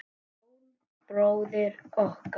Jón bróðir okkar.